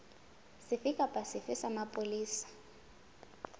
sefe kapa sefe sa mapolesa